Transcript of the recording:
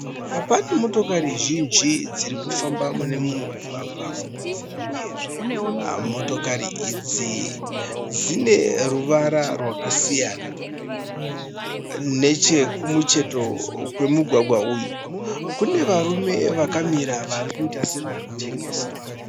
Pane motokari zhinji dzirikufamba mune mumwe mugwagwa. Motokari idzi dzine ruvara rwakasiyana. Nechekumucheto kwemugwagwa uyu kune varume vakamira varikuita sevari kutengesa.